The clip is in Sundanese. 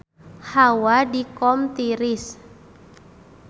Hawa di Qom tiris